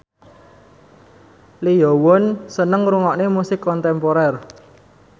Lee Yo Won seneng ngrungokne musik kontemporer